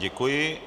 Děkuji.